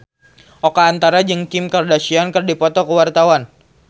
Oka Antara jeung Kim Kardashian keur dipoto ku wartawan